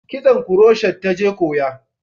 Kitson kuroshet ta je koya